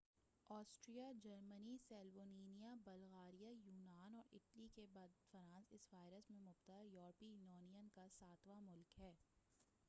Austria Germany Slovenia Bulgaria یونان اور Italy کے بعد فرانس اس وائرس میں مبتلا یورپی یونین کا ساتواں ملک ہے